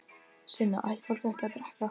Sunna: Ætti fólk ekki að drekka?